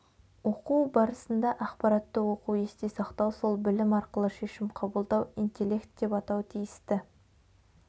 оқу барысында ақпаратты оқу есте сақтау сол білім арқылы шешім қабылдау интелект деп атау тиісті